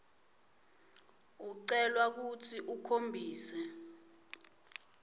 ucelwa kutsi ukhombise